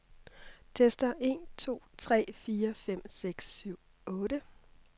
Tester en to tre fire fem seks syv otte.